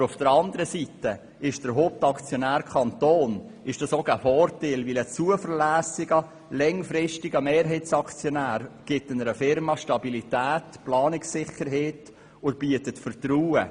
Aber auf der anderen Seite ist es auch ein Vorteil, wenn der Kanton Hauptaktionär langfristiger Mehrheitsaktionär gibt einer Unternehmung Stabilität und Planungssicherheit und schafft Vertrauen.